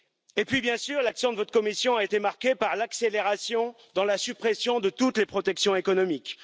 Et puis, bien sûr, l'action de votre Commission a été marquée par l'accélération de la suppression de toutes les protections économiques.